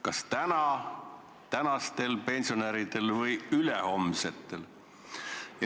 Kas see tuleb tagada tänastel pensionäridel või ülehomsetel?